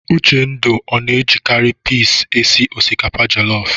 Uchendu ọ na-ejikarị pis esi osikapa jelọf?